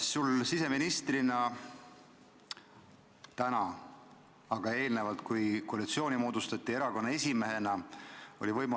Sa oled täna siseminister, aga eelnevalt, kui koalitsiooni moodustati, oli sul erakonna esimehena võimalik ministriportfelli valida.